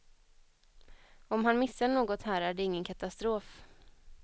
Om han missar något här är det ingen katastrof.